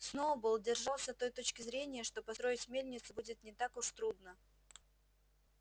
сноуболл держался той точки зрения что построить мельницу будет не так уж трудно